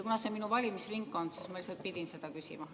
Kuna see on minu valimisringkond, siis ma pidin seda küsima.